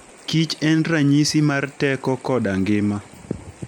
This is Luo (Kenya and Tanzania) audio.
Kich en ranyisi mar teko koda ngima.